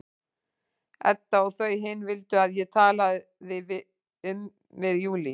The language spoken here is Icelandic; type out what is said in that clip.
Edda og þau hin vildu að ég talaði um við Júlíu.